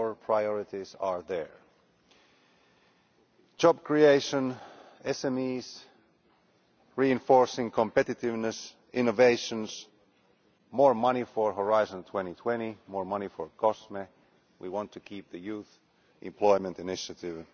Our priorities are there job creation, SMEs, reinforcing competitiveness, innovation, more money for Horizon 2020 and COSME and we want to keep the youth employment initiative.